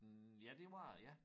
Hm ja det var det ja